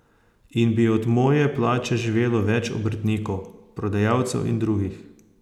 In bi od moje plače živelo več obrtnikov, prodajalcev in drugih.